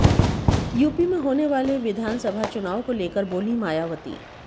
UP में होने वालेे विधानसभा चुनाव को लेकर बोलीं मायावती